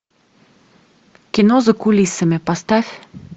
кино за кулисами поставь